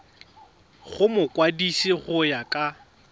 go mokwadise go ya ka